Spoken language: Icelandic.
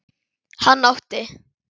Hann átti